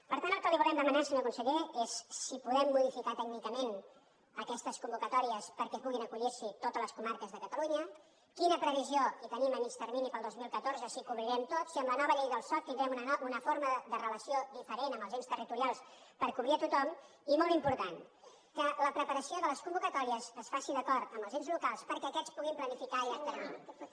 per tant el que li volem demanar senyor conseller és si podem modificar tècnicament aquestes convocatòries perquè puguin acollir s’hi totes les comarques de catalunya quina previsió tenim a mitjà termini per al dos mil catorze si ho cobrirem tot si amb la nova llei del soc tindrem una forma de relació diferent amb els ens territorials per cobrir tothom i molt important que la preparació de les convocatòries es faci d’acord amb els ens locals perquè aquests puguin planificar a llarg termini